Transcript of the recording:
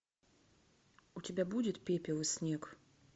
у тебя будет пепел и снег